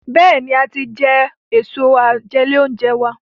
Béèni a tí jé Èso àjẹlé-oúnjẹ wá.